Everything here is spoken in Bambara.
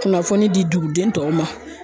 Kunnafoni di duguden tɔw ma